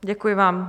Děkuji vám.